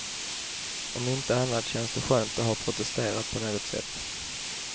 Om inte annat känns det skönt att ha protesterat på något sätt.